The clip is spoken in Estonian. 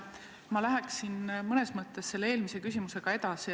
Ma läheksin mõnes mõttes selle eelmise küsimusega edasi.